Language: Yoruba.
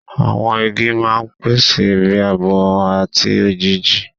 Àwọn igi máa ń pèsè ibi ààbò àti òjìji.